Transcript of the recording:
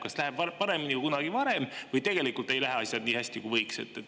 Kas läheb paremini kui kunagi varem või tegelikult ei lähe asjad nii hästi, kui võiks?